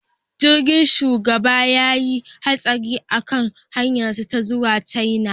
Jirgin shugaban ya yi hatsari a kan hanyarsu ta zuwa China